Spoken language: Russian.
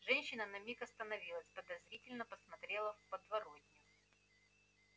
женщина на миг остановилась подозрительно посмотрела в подворотню